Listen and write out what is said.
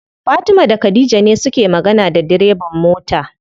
Fatima da khadija ne suke magana da direban mota.